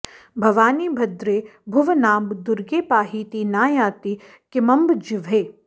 भवानि भद्रे भुवनाम्ब दुर्गे पाहीति नायाति किमम्ब जिह्वे